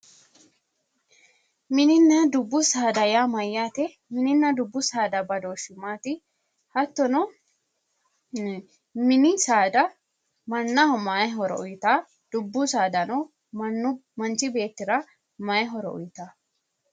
Mininna dubbu saada yaa mayyaate? Mininna dubbu saada badooshshi maati? Hattono mini saada mannaho mayi horo uyitaa? Dubbu saadano mannu manchu beettira mayi horo uyitaa?